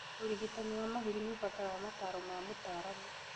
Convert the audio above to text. ũrigitani wa mahũri nĩũbataraga mataro ma mũtaramu